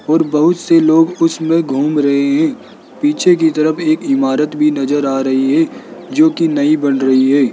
और बहुत लोग उसमें घूम रहे है पीछे की तरफ एक इमारत भी नजर आ रही है जो कि नई बन रही है।